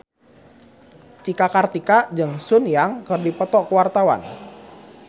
Cika Kartika jeung Sun Yang keur dipoto ku wartawan